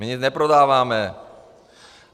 My nic neprodáváme.